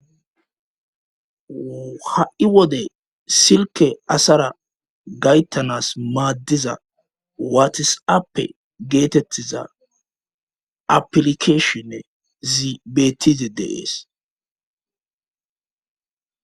ha7i wode silke asara gayttanas maaddiza waatis7appe geetettiza aplikeshinne zibetize deees